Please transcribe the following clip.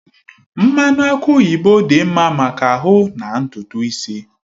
Mmanụ aki oyibo dị mma maka ahụ na ntutu isi.